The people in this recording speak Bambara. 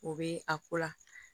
O bɛ a ko la